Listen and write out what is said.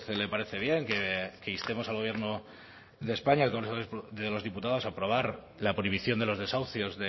le parece bien que instemos al gobierno de españa en el congreso de los diputados a aprobar la prohibición de los desahucios